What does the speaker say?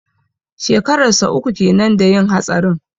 Shekarar sa uku kenan da yin hatsarin.